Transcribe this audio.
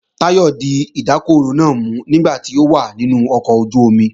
Táyọ̀ di ìdákọrò náà mú nígbà tó wà nínú ọkọ̀ ojú-omi